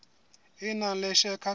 e nang le share capital